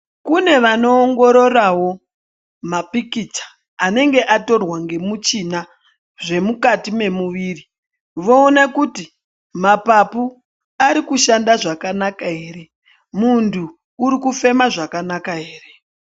Kune vanowongororawo mapikicha anenge atorwa nemuchina zvemukati emumuiri, vowona kuti mapaphu arikushanda zvakanaka here ,muntu urikufema zvakanaka here .